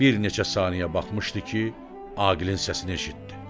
Bir neçə saniyə baxmışdı ki, Aqilin səsini eşitdi.